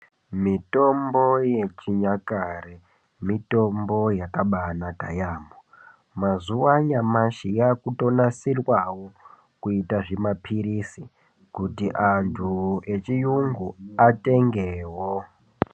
Mitombo yechinyakare mitombo yakabanaka yaampo mazuwa anyamashi yakutonadirwawo kuita zvima pilizi kuti antu echiyungu atengewo.